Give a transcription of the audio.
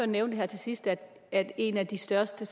nævnte her til sidst at en af de største